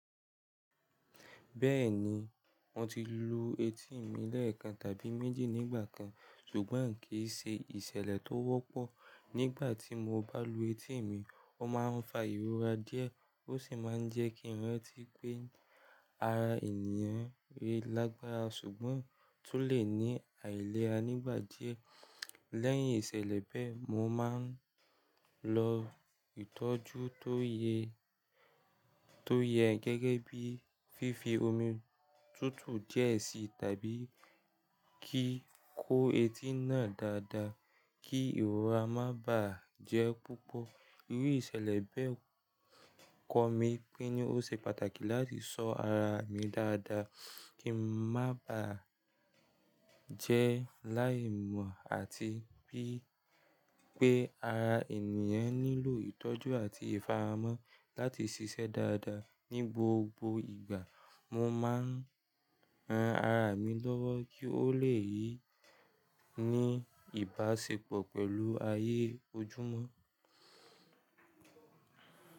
Bẹ́ẹ̀ni, mo ti lu etí mi lẹ́ẹ̀kan tàbí méjì nígbà kan, ṣùgbọ́n kì í ṣe ìṣẹ̀lẹ̀ tó wọ́pọ̀. Nígbà tí mo bá lu etí mi, ó máa ń fa ìrora díẹ̀ ó sì máa ń jẹ́ kí ìrántí pé ara ènìyàn re lágbára ṣùgbọ́n tó lè ní àìlera nígbà díẹ̀. Lẹ́yìn ìṣẹ̀lẹ̀ bẹ́ẹ̀, mo máa ń lọ ìtọ́jú tó yẹ, tó yẹ gẹ́gẹ́ bíi fífi omi tútù díẹ̀ sí i tàbí kí kó etí náà dáadáa kí ìrora má bà á jẹ́ púpọ̀. Irú ìṣẹ̀lẹ̀ bẹ́ẹ̀ kọ́ mi pé ní ó ṣe pàtàkì láti ṣọ́ ara mi dáadáa kí má bà á jẹ́ láì mọ̀ àti pé pé ara ènìyàn nílò ìtọ́jú àti ìfààmọ́ láti ṣiṣẹ́ dáadáa ní gbogbo ìgbà. Mo máa ń ran ara mi lọ́wọ́ kí ó lè ní ìbáṣepọ̀ pẹ̀lú ayé ojúmọ́.